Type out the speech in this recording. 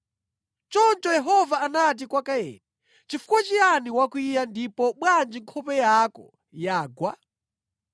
Choncho Yehova anati kwa Kaini, “Chifukwa chiyani wakwiya ndipo bwanji nkhope yako yagwa?